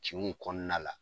Cinw kɔɔna la